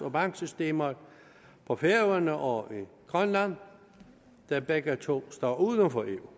og banksystemer på færøerne og i grønland der begge to står uden for eu